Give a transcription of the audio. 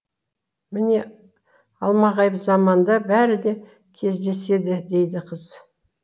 міне алмағайып заманда бәрі де кездеседі дейді қыз